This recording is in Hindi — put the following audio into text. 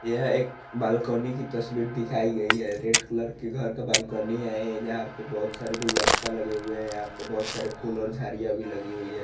यह एक बालकनी की तस्वीर दिखाई गयी है रेड कलर के घर का बालकनी है ये यहां पे बोहत सारे गुलदस्ता लगे हुए है यहां पे बोहत सारी फूल और झाडिया भी लगी हुई है ।